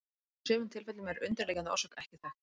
Í sumum tilfellum er undirliggjandi orsök ekki þekkt.